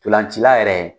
Ntolancila yɛrɛ